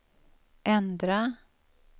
ändra